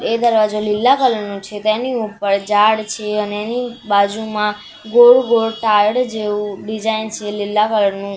એ દરવાજો લીલા કલર નો છે તેની ઉપર ઝાડ છે અને એની બાજુમાં ગોળ ગોળ તાડ જેવુ ડિઝાઇન છે લીલા કલર નુ.